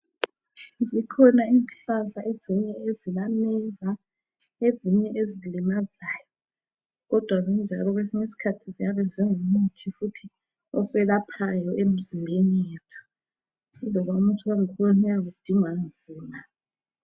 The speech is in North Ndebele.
Zikhona izihlahla ezinye ezilameva ezinye ezilamazayo kodwa zinjalo kwesinye isikhathi ziyabe zingumuthi futhi oselaphayo emzimbeni yethu laloba umuthi wangkhona uyabe udingwa nzima.